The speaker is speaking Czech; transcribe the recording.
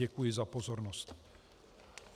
Děkuji za pozornost.